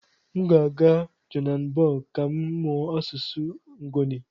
M ga-aga Johannesburg ka m mụọ asụsụ Nguni.